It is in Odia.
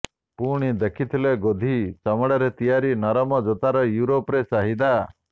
ପୁଣି ଦେଖିଥିଲେ ଗୋଧି ଚମଡ଼ାରେ ତିଆରି ନରମ ଜୋତାର ୟୁରୋପରେ ଚାହିଦା